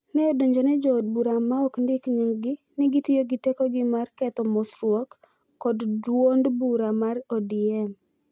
ne odonjone jo od bura ma ok ondiki nyinggi ni gitiyo gi tekogi mar ketho �mosruoko� kod duond bura mar ODM.